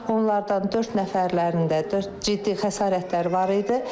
Onlardan dörd nəfərlərində ciddi xəsarətlər var idi.